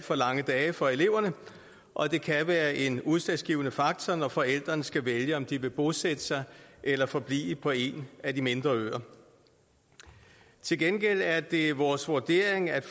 for lange dage for eleverne og det kan være en udslagsgivende faktor når forældrene skal vælge om de vil bosætte sig eller forblive på en af de mindre øer til gengæld er det vores vurdering at